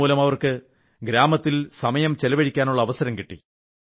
ഇതുമൂലം അവർക്ക് ഗ്രാമത്തിൽ സമയം ചിലവഴിക്കാനുള്ള അവസരം കിട്ടി